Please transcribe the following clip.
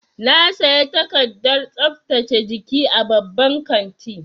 Na saya takardar tsaftace jiki a babban kanti.